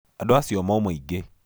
Andũ acio moima aingĩ.